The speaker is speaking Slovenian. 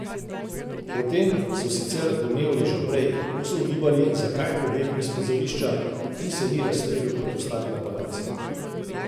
O tem so sicer domnevali že prej, ko so ugibali, zakaj je pobegnil s prizorišča in se ni razstrelil kot ostali napadalci.